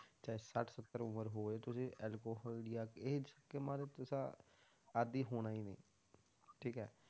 ਚਾਹੇ ਸੱਠ ਸੱਤਰ ਉਮਰ ਹੋਵੇ ਤੁਸੀਂ alcohol ਜਾਂ age ਗੇਮਾਂ ਦੇ ਤੁਸਾਂ ਆਦਿ ਹੋਣਾ ਹੀ ਨੀ, ਠੀਕ ਹੈ,